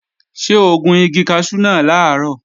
Ṣé o gun igi kaṣú náà làárọ̀?